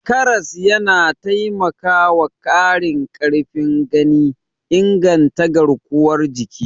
Karas yana taimakwa ƙarin ƙarfin gani, inganta garkuwar jiki.